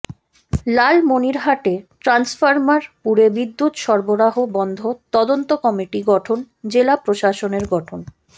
লালমনিরহাটে transformer পুড়ে বিদ্যুৎ সরবরাহ বন্ধ তদন্ত কমিটি গঠন জেলা প্রশাসনের গঠন